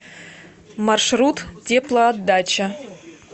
маршрут теплоотдача